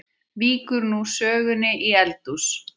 Víkur nú sögunni í eldhús.